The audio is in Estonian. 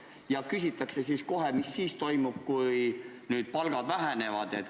Ja siis küsitakse kohe, mis siis toimub, kui nüüd palgad vähenevad.